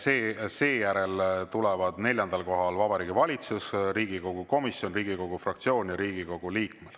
Seejärel tuleb neljandal kohal Vabariigi Valitsus, siis Riigikogu komisjon, Riigikogu fraktsioon ja Riigikogu liige.